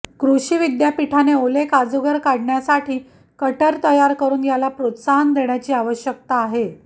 कृषी विद्यापीठाने ओले काजूगर काढण्यासाठी कटर तयार करून याला प्रोत्साहन देण्याची आवश्यकता आहे